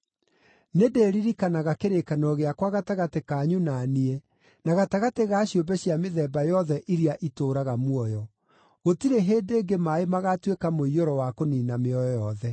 nĩndĩĩririkanaga kĩrĩkanĩro gĩakwa gatagatĩ kanyu na niĩ, na gatagatĩ ga ciũmbe cia mĩthemba yothe iria itũũraga muoyo. Gũtirĩ hĩndĩ ĩngĩ maaĩ magatuĩka mũiyũro wa kũniina mĩoyo yothe.